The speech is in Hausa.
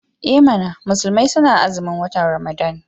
I mana! musulmai suna azumin watan Ramadan.